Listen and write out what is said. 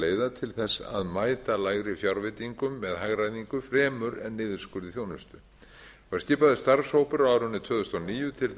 leiða til að mæta lægri fjárveitingum til hagræðingu fremur en niðurskurði í þjónustu það var skipaður starfshópur á árinu tvö þúsund og níu til